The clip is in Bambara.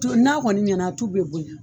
Tu n'a kɔni ɲɛna a tu be bonya